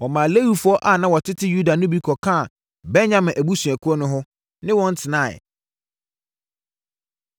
Wɔmaa Lewifoɔ a na wɔtete Yuda no bi kɔkaa Benyamin abusuakuo no ho, ne wɔn tenaeɛ.